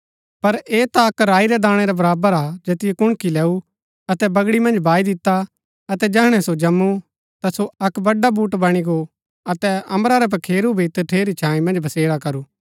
पर ऐह ता अक्क राई रै दाणै रै बराबर हा जैतियो कुणकी लैऊं अतै बगड़ी मन्ज बाई दिता अतै जैहणै सो जम्‍मु ता सो एक बड़ा बड्‍डा बुटट बणी गो अतै अम्बरा रै पखेरू भी तठेरी छाई मन्ज बसेरा करू